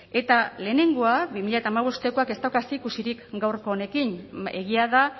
eta lehenengoa bi mila hamabostekoak ez dauka zerikusirik gaurko honekin egia da